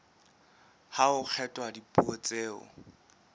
ha ho kgethwa dipuo tseo